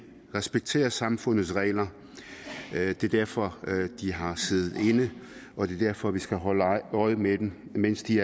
respekterer samfundets regler det er derfor de har siddet inde og det er derfor vi skal holde øje med dem mens de